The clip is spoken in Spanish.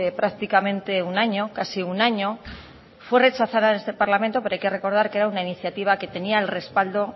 prácticamente un año casi un año fue rechazada en este parlamento pero hay que recordar que era una iniciativa que tenía el respaldo